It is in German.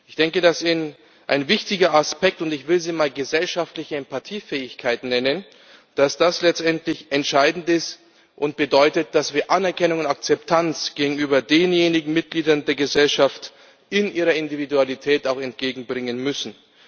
Ich denke, dass ein wichtiger Aspekt und ich will ihn mal gesellschaftliche Empathie Fähigkeit nennen letztendlich entscheidend ist und bedeutet, dass wir Anerkennung und Akzeptanz gegenüber denjenigen Mitgliedern der Gesellschaft in ihrer Individualität auch entgegenbringen müssen.